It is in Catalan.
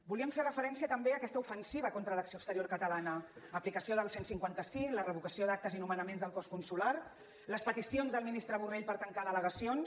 volíem fer referència també a aquesta ofensiva contra l’acció exterior catalana aplicació del cent i cinquanta cinc la revocació d’actes i nomenaments del cos consular les peticions del ministre borrell per tancar delegacions